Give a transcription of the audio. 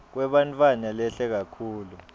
kwebantfwana lehle kakhulu